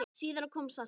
Síðar kom saltið.